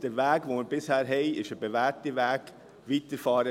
Deshalb soll man auf diesem Weg weiterfahren.